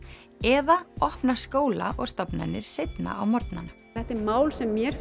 eða opna skóla og stofnanir seinna á morgnana þetta er mál sem mér